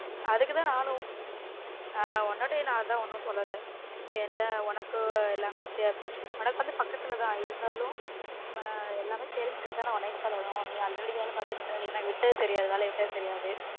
அதுக்கு தான் நானும் ஆஹ் உன்னட்டயும் அதான் எதுவுமே சொல்லல இங்க எல்லான் உனக்கு எல்லாமே தெரியும் உனக்கு வந்து பக்கத்துல தான் இருந்தாலும் நாம்ம எல்லாமே தெரிஞ்சுகிட்டு தான உன்னய சொல்லனும் நீ already வேல பார்த்துட்டு இருந்த நீ வேலய விட்டது தெரியாது எனக்கு வேலய விட்டது தெரியாது